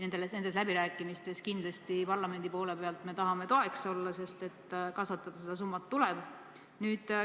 Nendes läbirääkimistes me tahame parlamendi poole pealt kindlasti toeks olla, sest kasvatada seda summat tuleb.